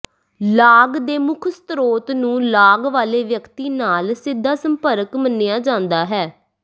ਲਾਗ ਦੇ ਮੁੱਖ ਸ੍ਰੋਤ ਨੂੰ ਲਾਗ ਵਾਲੇ ਵਿਅਕਤੀ ਨਾਲ ਸਿੱਧਾ ਸੰਪਰਕ ਮੰਨਿਆ ਜਾਂਦਾ ਹੈ